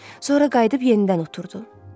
Sonra qayıdıb yenidən oturdu.